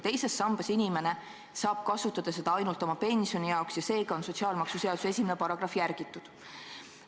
Teises sambas olevat raha saab inimene kasutada ainult oma pensioni täiendamiseks ja seega on sotsiaalmaksuseaduse 1. paragrahvi järgitud.